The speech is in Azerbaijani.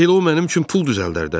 Elə o mənim üçün pul düzəldər də.